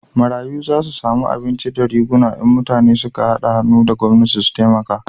Marayu za su samu abinci da riguna in mutane su ka hada hannu da gwamnati su taimaka